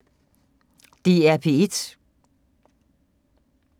DR P1